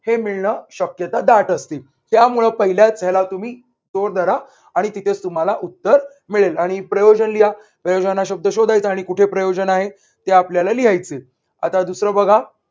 हे मी न शक्यता दाट असते त्यामुळे पहिल्याच ह्याला तुम्ही तो धडा आणि तिथे तुम्हाला उत्तर मिळेल आणि प्रयोजन लिहा. प्रयोजन हा शब्द शोधायचा. आणि कुठे प्रयोजन आहे ते आपल्याला लिहायचय. आता दुसर बघा.